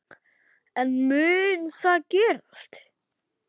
En mun það gerast?